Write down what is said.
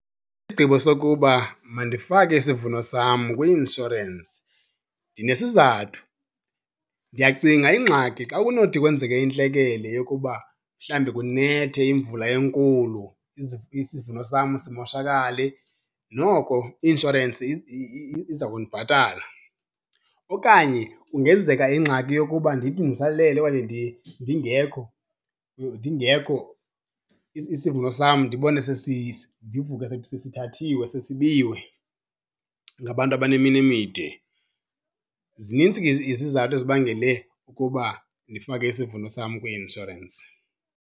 Isigqibo sokuba mandifake isivuno sam kwi-inshorensi ndinesizathu. Ndiyacinga ingxaki xa kunothi kwenzeke intlekele yokuba mhlawumbi kunethe imvula enkulu isivuno sam simoshakale noko i-inshorensi iza kundibhatala. Okanye kungenzeka ingxaki yokuba ndithi ndisalele okanye ndingekho, ndingekho isivuno sam ndibone, ndivuke sesithathiwe sesibiwe ngabantu abaneminwe emide. Zinintsi ke izizathu ezibangele ukuba ndifake isivuno sam kwi-inshorensi.